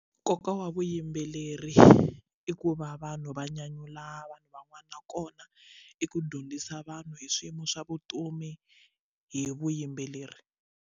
Nkoka wa vuyimbeleri i ku va vanhu va nyanyula vanhu van'wana nakona i ku dyondzisa vanhu hi swiyimo swa vutomi hi vuyimbeleri.